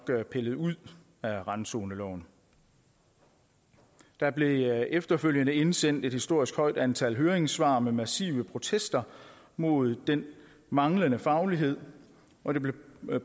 pillet ud af randzoneloven der blev efterfølgende indsendt et historisk højt antal høringssvar med massive protester mod den manglende faglighed og det blev